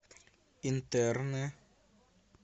интерны